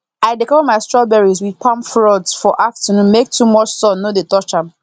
i dey cover my strawberries with palm fronds for afternoon make too much sun no dey touch am